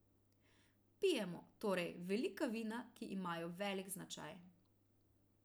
Pijemo, torej, velika vina, ki imajo velik značaj.